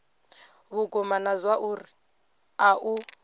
vhukuma na zwauri a u